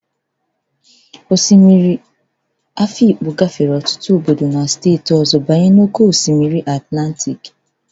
Osimiri a na-ahụta n'Afikpo gafere ọtụtụ obodo na steeti ọzọ banye na oke osimiri Atlantịk